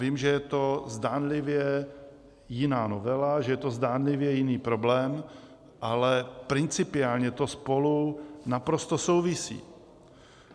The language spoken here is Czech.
Vím, že je to zdánlivě jiná novela, že je to zdánlivě jiný problém, ale principiálně to spolu naprosto souvisí.